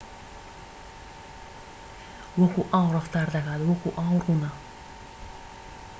وەکو ئاو ڕەفتار دەکات وەکو ئاو ڕوونە